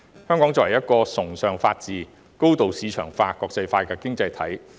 香港是一個崇尚法治、高度市場化、國際化的經濟體。